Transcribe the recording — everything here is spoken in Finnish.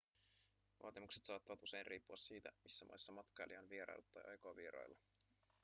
vaatimukset saattavat usein riippua siitä missä maissa matkailija on vieraillut tai aikoo vierailla